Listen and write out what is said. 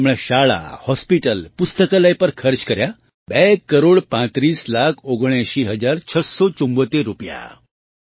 અને તેણે શાળા હૉસ્પિટલ પુસ્તકાલય પર ખર્ચ કર્યા બે કરોડ પાંત્રીસ લાખ ઓગણેંસી હજાર છસ્સો ચુમ્મોતેર રૂપિયા